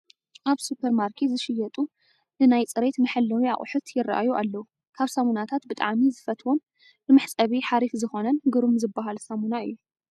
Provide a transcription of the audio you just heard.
ኣብ ሱፐርማርኬት ዝሽየጡ ንናይ ፅሬት መሐለዊ ኣቕሑት ይራኣዩ ኣለው፡፡ ካብ ሳሙናታት ብጣዕሚ ዝፈትዎን ንመሕፀቢ ሓሪፍ ዝኾነን ግሩም ዝባሃል ሳሙና እዩ፡፡